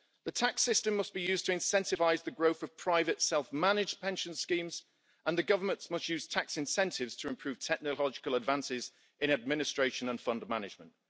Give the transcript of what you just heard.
The tax system must be used to incentivise the growth of private self managed pension schemes, and the governments must use tax incentives to improve technological advances in administration and fund management.